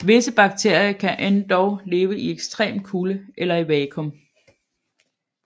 Visse bakterier kan endog leve i ekstrem kulde eller i vacuum